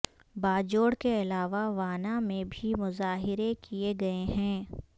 باجوڑ کے علاوہ وانا میں بھی مظاہرے کیے گئے ہیں